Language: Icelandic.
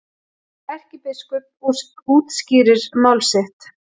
Erkibiskup útskýrir mál sitt